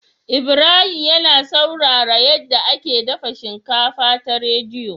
Ibrahim yAna saurara yace ake dafa shinkafa ta rediyo